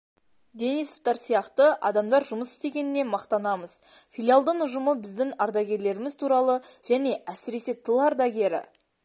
денисовтар сияқты адамдар жұмыс істегеніне мақтанамыз филиалдың ұжымы біздің ардагерлеріміз туралы және әсіресе тыл ардагері